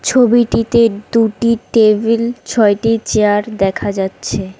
ছবিটিতে দুটি টেবিল ছয়টি চেয়ার দেখা যাচ্ছে।